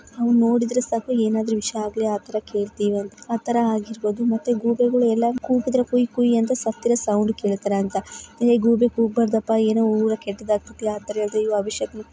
ನಾವು ನೋಡುದ್ರೆ ಸಾಕು ಏನಾದ್ರೂ ವಿಷ್ಯ ಆಗ್ಲಿ ಆತರ ಕೇಳ್ತೀವಿ ಅಂತ ಆತರ ಆಗಿರಬಹುದು ಮತ್ತೆ ಗೂಬೆಗಳು ಎಲ್ಲಾದರೂ ಕೂಗುದ್ರೆ ಕುಯ್ ಕುಯ್ ಅಂತ ಸತ್ತಿರೋ ಸೌಂಡ್ ಕೇಳ್ತಾರೆ ಅಂತ ಹೇ ಗೂಬೆ ಕೂಗಬಾರದಪ್ಪಾ ಏನೋ ಊರಲ್ಲಿ ಕೆಟ್ಟದಾಗ್ತೈತೆ. ಅತರ ಹೇಳ್ದೆ ಅಯ್ಯೋ ಆ ವಿಷ್ಯ--